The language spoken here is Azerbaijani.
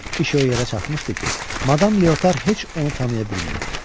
İş o yerə çatmışdı ki, Madam Leotar heç onu tanıya bilmirdi.